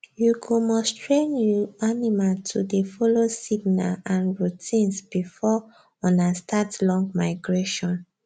you go must train you animal to dey follow signer and routines before ona start long migration